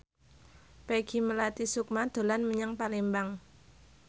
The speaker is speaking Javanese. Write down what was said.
Peggy Melati Sukma dolan menyang Palembang